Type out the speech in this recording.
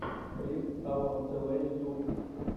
клип аурум тв ютуб